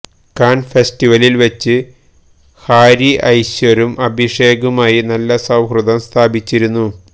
can ഫെസ്റ്റിവലില് വെച്ച് Harvey ഐശ്വര്യും അഭിഷേകുമായി നല്ല സൌഹൃദം സ്ഥാപിച്ചിരുന്നു